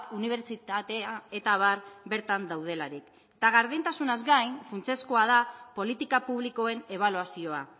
unibertsitatea eta abar bertan daudelarik eta gardentasunaz gain funtsezkoa da politika publikoen ebaluazioa